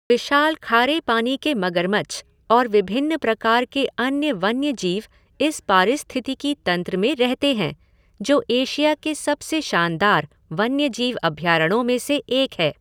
विशाल खारे पानी के मगरमच्छ और विभिन्न प्रकार के अन्य वन्यजीव इस पारिस्थितिकी तंत्र में रहते हैं जो एशिया के सबसे शानदार वन्यजीव अभयारण्यों में से एक है।